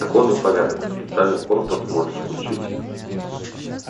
закон и порядок специальный корпус можешь включить